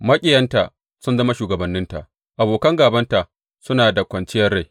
Maƙiyanta sun zama shugabanninta; Abokan gābanta suna da kwanciyar rai.